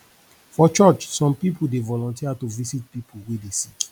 for church some pipu dey volunteer to visit pipu wey dey sick